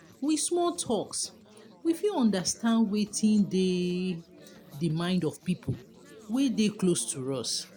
with small talks we fit understand wetin dey di mind of pipo wey dey close to us